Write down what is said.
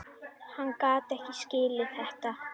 Hann gat ekki skilið þetta.